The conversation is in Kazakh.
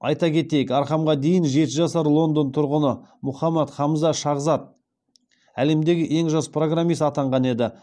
айта кетейк архамға дейін жеті жасар лондон тұрғыны мұхаммад хамза шахзад әлемдегі ең жас программист атанған еді